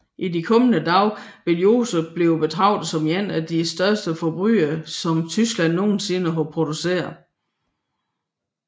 I de kommende dage vil Joseph blive betragtet som en af de største forbrydere som Tyskland nogensinde har produceret